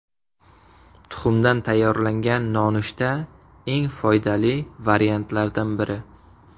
Tuxumdan tayyorlangan nonushta eng foydali variantlardan biri.